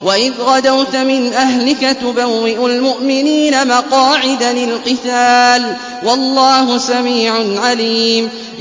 وَإِذْ غَدَوْتَ مِنْ أَهْلِكَ تُبَوِّئُ الْمُؤْمِنِينَ مَقَاعِدَ لِلْقِتَالِ ۗ وَاللَّهُ سَمِيعٌ عَلِيمٌ